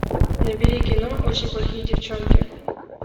набери кино очень плохие девчонки